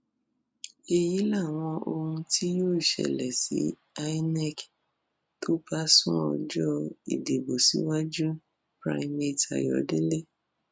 èyí làwọn ohun tí yóò ṣẹlẹ tí imac kò bá sún ọjọ ìdìbò síwájúpiñate ayọdẹ